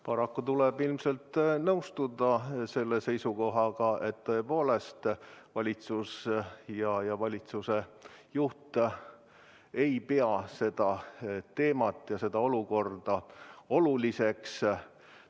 Paraku tuleb ilmselt nõustuda selle seisukohaga, et tõepoolest valitsus ja valitsuse juht ei pea seda teemat ja seda olukorda oluliseks.